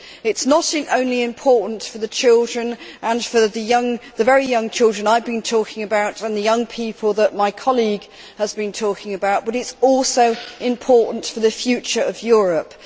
It is not only important for children, for the very young children I have been talking about and the young people that my colleague has been talking about, but it is also important for the future of Europe.